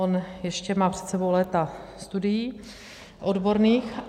On ještě má před sebou léta studií odborných.